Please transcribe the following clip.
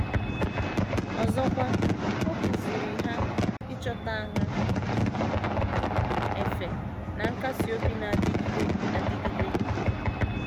Ọzọkwa, ọ kụziiri ha ịchọta ahụ efe na nkasị obi na - adịgide adịgide.